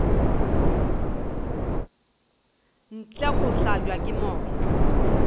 ntle go hlabja ke moya